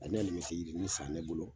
A na bɛ halimɛti yirini san ne bolo.